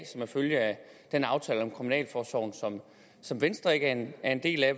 er en følge af den aftale om kriminalforsorgen som venstre ikke er en del af